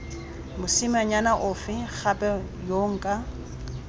mosimanyana ofe gape yo nka